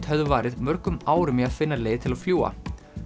höfðu varið mörgum árum í að finna leið til að fljúga